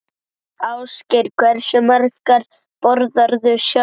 Ásgeir: Hversu margar borðarðu sjálfur?